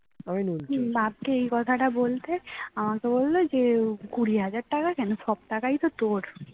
বাপকে এই কথাটা বলতে আমাকে বলল যে কুড়ি হাজার টাকা কেন সব টাকায় তো তোর